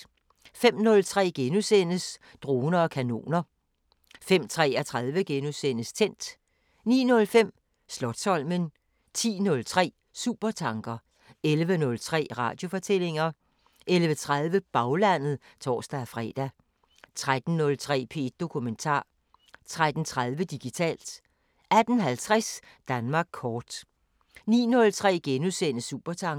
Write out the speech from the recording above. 05:03: Droner og kanoner * 05:33: Tændt * 09:05: Slotsholmen 10:03: Supertanker 11:03: Radiofortællinger 11:30: Baglandet (tor-fre) 13:03: P1 Dokumentar 13:30: Digitalt 18:50: Danmark kort 19:03: Supertanker *